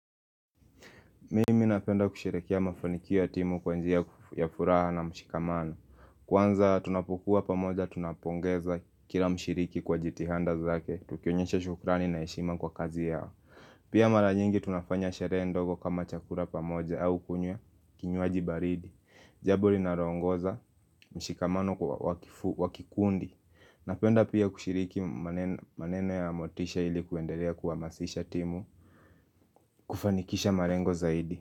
Mimi napenda kusheherekea mafanikio ya timu kwa njia ya fu furaha na mshikamano Kwanza tunapokuwa pamoja tunapongeza kila mshiriki kwa jitihada zake tukionyesha shukrani na heshima kwa kazi yao Pia mara nyingi tunafanya sherehe ndogo kama chakula pamoja au kunywa kinywaji baridi Jambo rinaro ongoza mshikamano kwa wakifu wakikundi Napenda pia kushiriki manene maneno ya motisha ili kuendelea kuhamasisha timu kufanikisha marengo zaidi.